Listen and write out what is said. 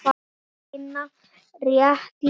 Þar var Hinna rétt lýst.